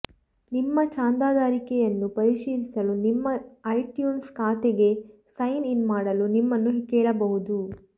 ನಿಮ್ಮ ಚಂದಾದಾರಿಕೆಯನ್ನು ಪರಿಶೀಲಿಸಲು ನಿಮ್ಮ ಐಟ್ಯೂನ್ಸ್ ಖಾತೆಗೆ ಸೈನ್ ಇನ್ ಮಾಡಲು ನಿಮ್ಮನ್ನು ಕೇಳಬಹುದು